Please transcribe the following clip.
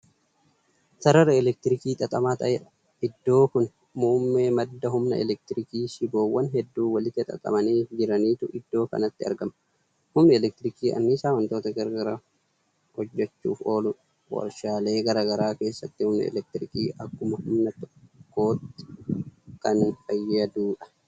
Sarara elektirikii xaxamaa ta'eedha. iddoo Kuni muummee madda humna elektirikiiti. shiboowwan hedduu walitti xaxamanii jiraniitu iddoo kanatti argama. humni elektirikii anniisaa wantoota garagaraa hojjachuuf ooludha. warshaalee garagaraa keessatti humni elektirikii akka humna tokkootti Kan fayyaduudha.